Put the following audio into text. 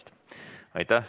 Aitäh!